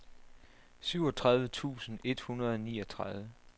syvogtredive tusind et hundrede og niogtredive